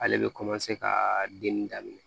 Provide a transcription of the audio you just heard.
Ale bɛ ka den daminɛ